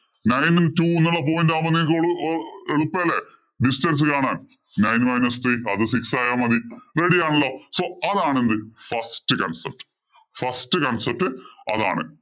Distance കാണാന്‍. Nine minus three അത് six ആയാല്‍ മതി. Ready ആണല്ലോ. So അതാണ്‌ എന്ത്? First concept. First concept അതാണ്.